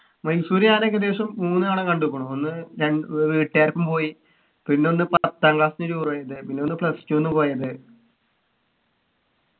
മൈസൂർ ഞാൻ ഏകദേശം മൂന്നു തവണ കണ്ടുക്കുണു ഒന്ന് ര വീട്ടുകാരൊപ്പം പോയി പിന്നൊന്ന് പത്താം class ന്നു tour പോയത് പിന്നൊന്ന് plus two ന്ന് പോയത്